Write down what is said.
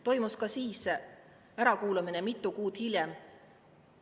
… toimus ka siis ärakuulamine mitu kuud hiljem.